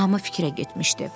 Hamı fikrə getmişdi.